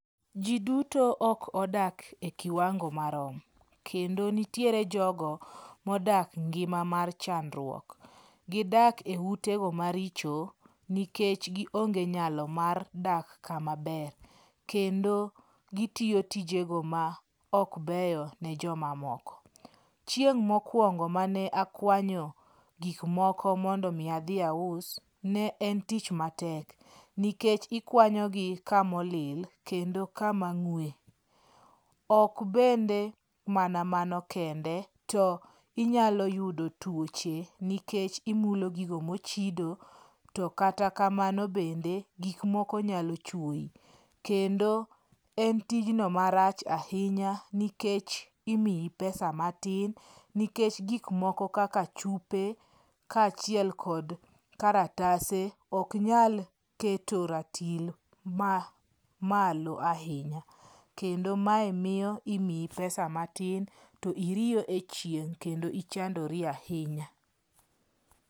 Ji duto ok odak e kiwangi marom. Kendo nitiere jogo modak e ngima mar chandruok. Gidak e utego maricho nikech gionge nyalo mar dak kamaber. Kendo gitiyo tijego maok beyo ni joma moko. Chieng' mokuongo mane akuanyo gik moko mondo mi adhi aus, ne en tich matek nikech, ikuanyogi kamolil kendo kama ng'ue. Ok bende mana mano kendo to inyalo yudo tuoche nikech imulo gik mochido, to kata kamano bende, gik moko nyalo chuoyi. kendo en tjno marach ahinya nikech imiyi pesa matin nikech gik moko kaka chupe kaachiel kod kalatase ok nyal keto ratil ma malo ahinya. Kendo mae miyo imiyi pesa, to iriyo e chieng' kendo ichandori ahinya.